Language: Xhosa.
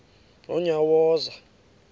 nonyawoza